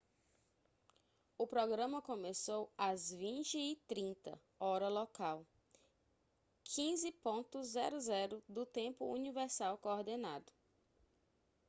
o programa começou às 20h30 hora local 15.00 do tempo universal coordenado